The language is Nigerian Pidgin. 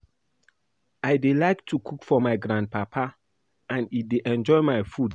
I dey like to cook for my grand papa and e dey enjoy my food